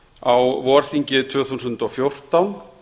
á vorþingi tvö þúsund og fjórtán